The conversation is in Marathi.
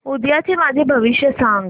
उद्याचं माझं भविष्य सांग